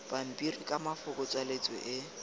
pampiri ka mafoko tswaletswe e